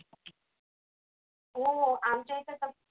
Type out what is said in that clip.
हो आमच्या एका